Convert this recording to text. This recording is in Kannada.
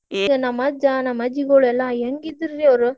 ನಮ್ಮ್ ಅಜ್ಜಾ ನಮ್ಮ್ ಅಜ್ಜಿಗೋಳೆಲ್ಲಾ ಹೆಂಗಿದ್ರು ರೀ ಅವ್ರ.